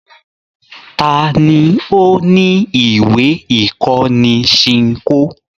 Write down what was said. Ta ni ó ní ìwé-ìkọ́ni Ṣinkó?